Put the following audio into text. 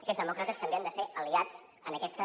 aquests demòcrates també han de ser aliats en aquesta